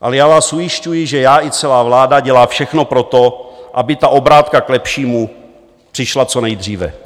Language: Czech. Ale já vás ujišťuji, že já i celá vláda dělá všechno pro to, aby ta obrátka k lepšímu přišla co nejdříve.